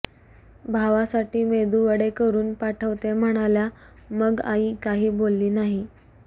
भावासाठी मेदूवडे करून पाठवते म्हणाल्या मग आई काही बोलली नाही